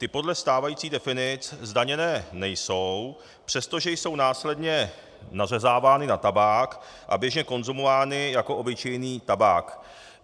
Ty podle stávajících definic zdaněné nejsou, přestože jsou následně nařezávány na tabák a běžně konzumovány jako obyčejný tabák.